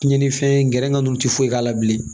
Tiɲɛnifɛn gɛrɛ ka ninnu tɛ foyi k'a la bilen